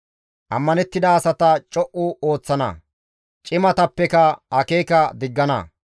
Ammanettida asata co7u ooththana; cimatappeka akeeka diggana.